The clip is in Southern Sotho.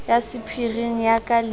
ya sephiring ya ka le